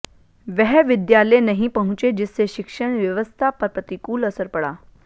वह विद्यालय नहीं पहुंचे जिससे शिक्षण व्यवस्था पर प्रतिकूल असर पड़ा